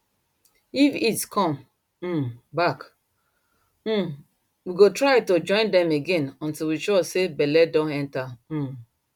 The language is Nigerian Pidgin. if heat come um back um we go try to join dem again until we sure say belle don enter um